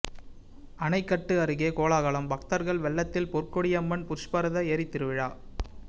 அணைக்கட்டு அருகே கோலாகலம் பக்தர்கள் வெள்ளத்தில் பொற்கொடியம்மன் புஷ்பரத ஏரித்திருவிழா